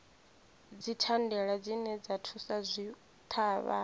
dzithandela dzine dza thusa zwitshavha